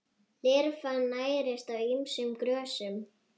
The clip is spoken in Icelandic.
Lirfan nærist á ýmsum grösum.